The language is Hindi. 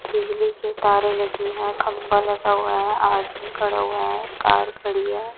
बिजली के तारें लगी हैं खंभा लगा हुआ हैं आदमी खड़ा हुआ हैं कार खड़ी है।